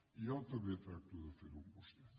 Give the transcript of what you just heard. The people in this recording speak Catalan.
i jo també tracto de fer ho amb vostè